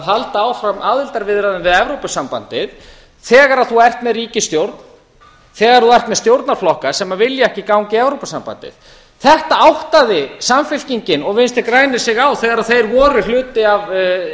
halda áfram aðildarviðræðum við evrópusambandið þegar þú ert með ríkisstjórn þegar þú ert með stjórnarflokka sem vilja ekki ganga í evrópusambandið þetta áttaði samfylkingin og vinstri grænir sig á þegar þeir voru hluti af